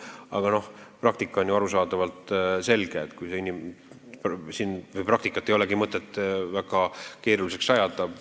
Aga praktika on ju niigi selge ja praktikat ei ole mõtet väga keeruliseks ajada.